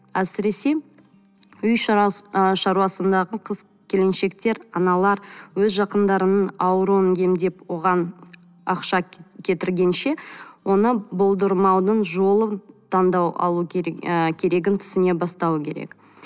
әсіресе үй ы шаруасындағы қыз келіншектер аналар өз жақындарының ауруын емдеп оған ақша кетіргенше оны болдырмаудың жолын таңдау алу керек ы керегін түсіне бастауы керек